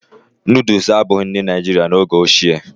Nooduls abụghị nri Naijiria n'oge ochie